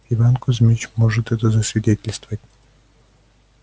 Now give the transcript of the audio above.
иван кузьмич может это засвидетельствовать